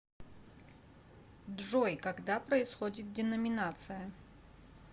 джой когда происходит деноминация